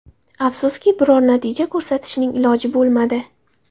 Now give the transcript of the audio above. Afsuski, biror natija ko‘rsatishning iloji bo‘lmadi.